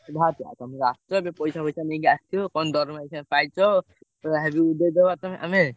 ବାହାରୁଛ ତମେ ତ ଆସୁଛ ଏବେ ପଇସା ଫଇସା ନେଇକି ଆ~ ସିଥିବ~ କଣ ଦରମା ଅଇଖା ପାଇଛ ଯାହାବି ଉଡେଇଦେବା ତମେ ଆମେ।